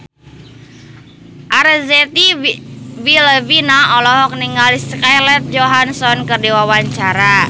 Arzetti Bilbina olohok ningali Scarlett Johansson keur diwawancara